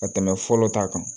Ka tɛmɛ fɔlɔ ta kan